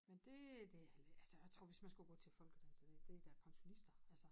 Men det øh det altså jeg tror hvis man skulle gå til folkedans så det da pensionister altså